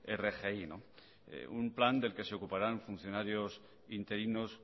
rgi un plan del que se ocuparán funcionarios interinos